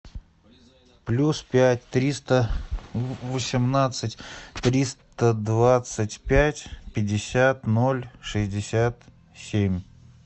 плюс пять триста восемнадцать триста двадцать пять пятьдесят ноль шестьдесят семь